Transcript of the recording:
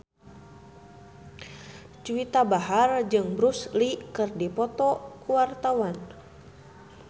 Juwita Bahar jeung Bruce Lee keur dipoto ku wartawan